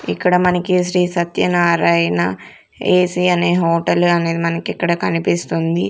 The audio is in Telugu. ఇక్కడ మనకి శ్రీ సత్యనారాయణ ఏసీ అనే హోటల్ అని మనకి ఇక్కడ కనిపిస్తుంది.